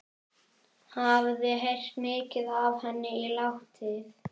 Hafði heyrt mikið af henni látið.